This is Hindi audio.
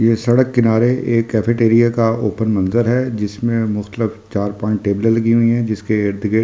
ये सड़क किनारे एक कैफेटेरिया का ओपन मंजर है जिसमें मुख्तलिफ चार पांच टेबले लगी हुई है जिसके इर्द-गिर्द --